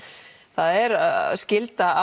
það er skylda